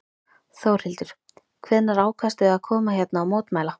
Þórhildur: Hvenær ákvaðstu að koma hérna og mótmæla?